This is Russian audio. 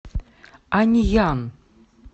аньян